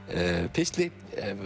pistli